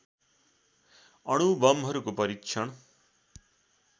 अणु बमहरूको परीक्षण